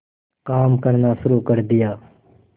काम करना शुरू कर दिया